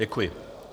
Děkuji.